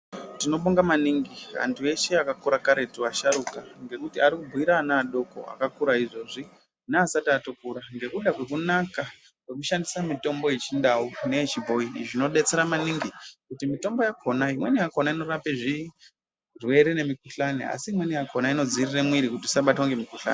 Tinombunga maningi, andu ese akakura kare kuti asharuka. Ndikuti arikugwira ana adoko, akakura izvezvi. Neasati atokura, ndokuda kwokunaka kwekushandisa mitombo yechindau neyechibhoyi. Zvinobatsira maningi kuti mitombo yakonayi inakona kurape zvirwere nemukuhlwane, asi mwenakonayi inodzivirira mwiri kuti isabatwe nemukuhlwane.